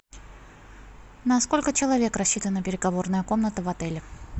на сколько человек рассчитана переговорная комната в отеле